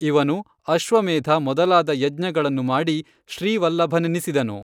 ಇವನು ಅಶ್ವಮೇಧ ಮೊದಲಾದ ಯಜ್ಞಗಳನ್ನು ಮಾಡಿ ಶ್ರೀವಲ್ಲಭನೆನಿಸಿದನು.